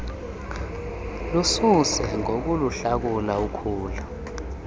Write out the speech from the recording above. lususe ngokuluhlakula ukhula